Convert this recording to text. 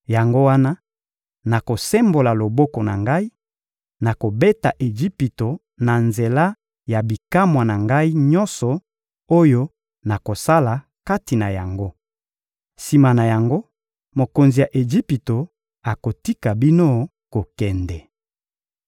Yango wana, nakosembola loboko na Ngai; nakobeta Ejipito na nzela ya bikamwa na Ngai nyonso oyo nakosala kati na yango. Sima na yango, mokonzi ya Ejipito akotika bino kokende.